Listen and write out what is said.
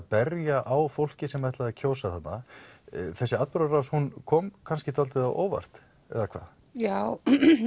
berja á fólki sem ætlaði að kjósa þarna þessi atburðarás hún kom kannski dálítið á óvart já